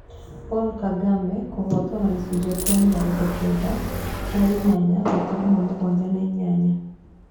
Paul Kagame kũhotwo na gĩcunjĩ kĩa mĩrongo kenda na inyanya gaturuma mũgwanja na inyanya.